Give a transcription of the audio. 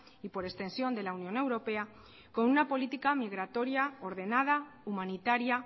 y por extensión de la unión europea con una política migratoria ordenada humanitaria